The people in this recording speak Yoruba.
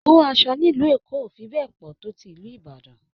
Owó aṣọ nílùú Èkó ò fi bẹ́ẹ̀ pọ̀ tó ti ìlú Ìbàdàn